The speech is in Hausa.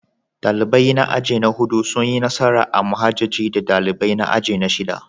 Dalibai na aji na hudu sun yi nasara a muhajjaji da dalibai na aji na shida.